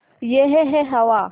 यह है हवा